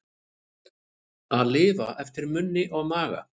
Að lifa eftir munni og maga